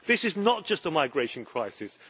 This is not just a migration crisis.